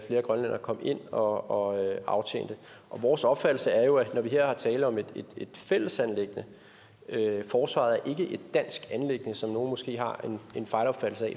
grønlændere kom ind og aftjente vores opfattelse er jo at når der her er tale om et fællesanliggende forsvaret er ikke et dansk anliggende som nogle måske har en fejlopfattelse af